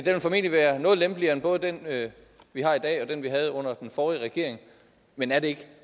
vil formentlig være noget lempeligere end både den vi har i dag og den vi havde under den forrige regering men er det ikke